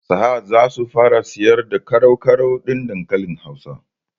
Sahad zasu fara siyar da ƙarau-ƙarau ɗin dankalin hausa